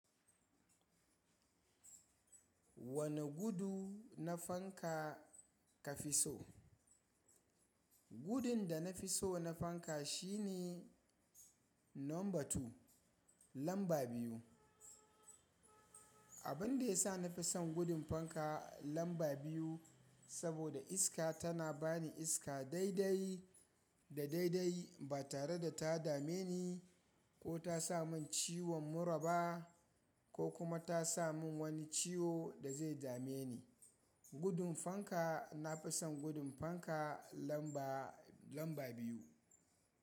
Wane gudu na fanka ka fi so? Gudun da na fi so na fanka shine number two, lamba biyu. Abin da ya sa na fi son gudun fanka lamba biyu saboda iska tana ba ni iska daidai da daidai ba tare da ta dame ni ko ta sa mun ciwon mura ba ko kuma ta sa mun wani ciwo da zai dame ni. Gudun fanka na fi son gudun fanka lamba, lamba biyu.